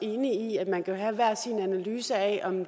enig i at man kan have hver sin analyse af om